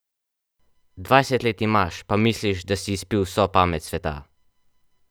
Dvajset let imaš, pa misliš, da si izpil vso pamet sveta !